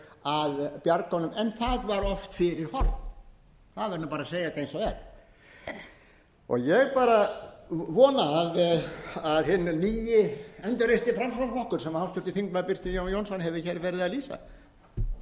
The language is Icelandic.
að bjarga honum en það var oft fyrir horn það verður bara að segjast eins og er ég bara vona að hinn nýi endurreisti framsóknarflokkur sem háttvirtur þingmaður birkir jón jónsson hefur hér verið að